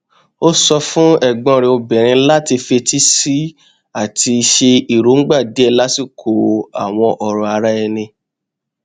ó sọ fún ẹgbọn rẹ obìnrin láti fetísílẹ sí i àti ṣe èròngbà díẹ lásìkò àwọn ọrọ ara ẹni